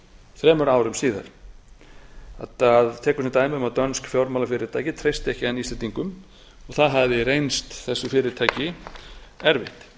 þremur árum síðar hann tekur sem dæmi um að dönsk fjármálafyrirtæki treysti ekki enn íslendingum og það hafi reynst þessu fyrirtæki erfitt